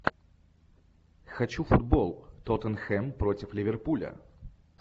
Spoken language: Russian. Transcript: хочу футбол тоттенхэм против ливерпуля